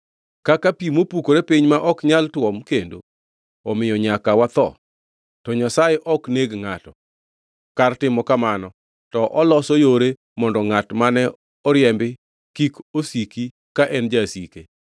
Kaka pi mopukore piny ma ok nyal tuom kendo, omiyo nyaka watho. To Nyasaye ok neg ngʼato; kar timo kamano, to oloso yore mondo ngʼat mane oriembi kik osiki ka en jasike.